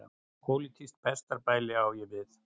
Pólitískt pestarbæli á ég við.